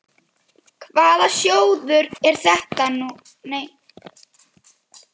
Hvaða sjóður er nú þetta?